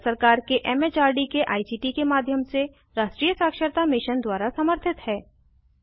यह भारत सरकार के एम एच आर डी के आई सी टी के माध्यम से राष्ट्रीय साक्षरता मिशन द्वारा समर्थित है